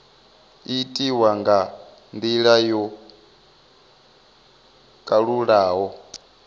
itiwa nga ndila yo kalulaho